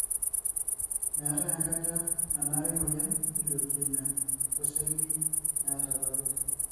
meetae enkata nanare emoyian e lukemia oseli naata ilpapit.